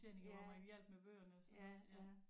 Ja ja ja